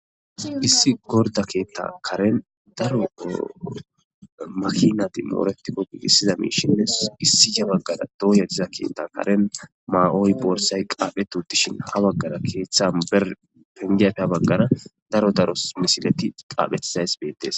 issi gorda keetta karen daro makinati mooretikko giigissiza miishinnes issi ca baggara dooya diza keettan karen ma7oy boorsay qaaphetu dishin ha baggara keeththan ber pengiafea baggara daro daros misileti qaaphethsays beettes